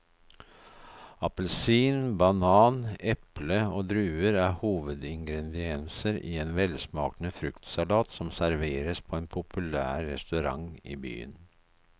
Appelsin, banan, eple og druer er hovedingredienser i en velsmakende fruktsalat som serveres på en populær restaurant i byen.